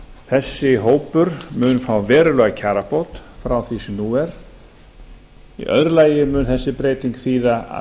þessi hópur mun fá verulega kjarabót frá því sem nú er í öðru lagi mun þessi breyting þýða að